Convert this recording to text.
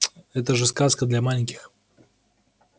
это же сказка для маленьких